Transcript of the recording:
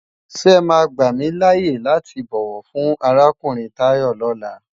Sé è má gbámilâyé láti bòwò fun árákúurin Tayo lòlá?